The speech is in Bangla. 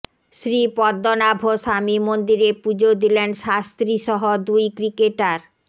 শ্রী পদ্মনাভস্বামী মন্দিরে পুজো দিলেন শাস্ত্রী সহ দুই ক্রিকেটার